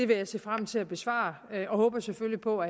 vil jeg se frem til at besvare og jeg håber selvfølgelig på